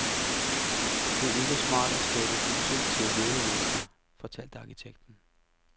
Det er ikke smart at skabe huse til levende mennesker, fortalte arkitekten.